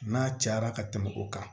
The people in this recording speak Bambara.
N'a cayara ka tɛmɛ o kan